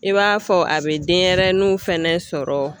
I b'a fɔ a bɛ denɲɛrɛninw fana sɔrɔ.